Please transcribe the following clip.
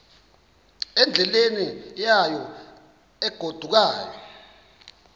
endleleni yayo egodukayo